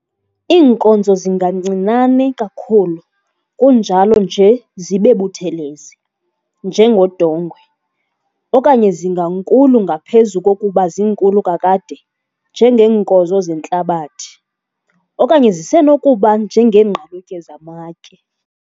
Iinkozo zingancinane kakhulu kunjalo nje zibe buthelezi, njengodongwe, okanye zingankulu ngaphezu kokuba zinkulu kakade, njengeenkozo zentlabathi okanye zisenokuba njengeengqalutye zamatye,